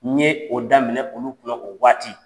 N ye o daminɛ olu kunna o waati.